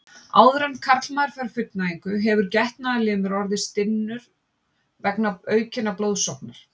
Áður en karlmaður fær fullnægingu hefur getnaðarlimur orðið stinnur vegna aukinnar blóðsóknar.